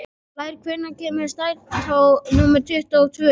Blær, hvenær kemur strætó númer tuttugu og tvö?